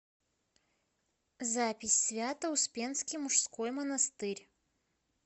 запись свято успенский мужской монастырь